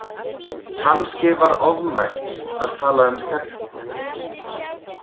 Kannski var ofmælt að tala um hörku.